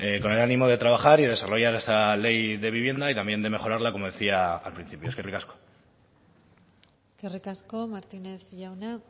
con el ánimo de trabajar y desarrollar esa ley de vivienda y también de mejorarla como decía al principio eskerrik asko eskerrik asko martínez jauna